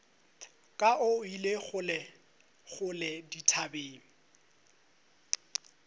ka o ile kgolekgole dithabeng